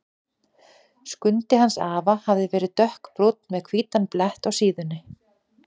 Skundi hans afa hafði verið dökkbrúnn með hvítan blett á síðunni.